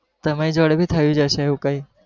તમારી જોડે બી થયું હસે એવું કઈ.